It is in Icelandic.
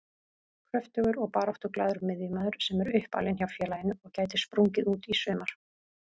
Kröftugur og baráttuglaður miðjumaður sem er uppalinn hjá félaginu og gæti sprungið út í sumar.